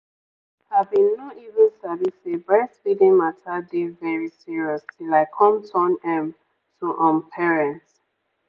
i bin no even sabi say breastfeeding mata dey very serious till i come turn um to um parent.